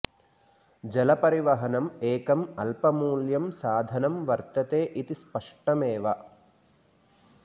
जलपरिवहनम् एकम् अल्पमूल्यं साधनं वर्तते इति स्पष्टम् एव